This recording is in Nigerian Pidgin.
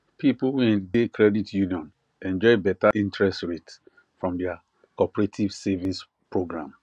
people wey de credit union enjoy better interest rate from their cooperative savings program